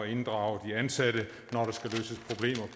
inddrage de ansatte